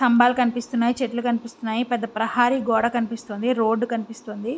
సంభాలు కనిపిస్తున్నాయి చెట్లు కనిపిస్తున్నాయి పెద్ద ప్రహారి గోడ కనిపిస్తున్నది రోడ్డు కనిపిస్తోంది.